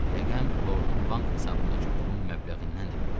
Rəqəm lordun bank hesabındakı pulun məbləğindən də böyük idi.